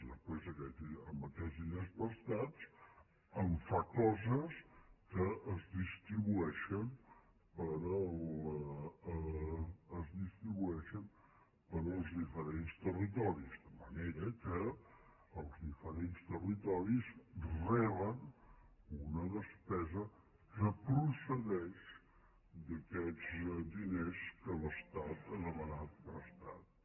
després amb aquests diners prestats fa coses que es distribueixen per als diferents territoris de manera que els diferents territoris reben una despesa que procedeix d’aquests diners que l’estat ha demanat prestats